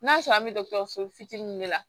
N'a sɔrɔ an be dɔgɔtɔrɔso fitininw de la